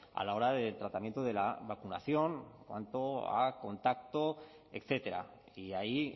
a la hora del tratamiento de la vacunación en cuanto a contacto etcétera y ahí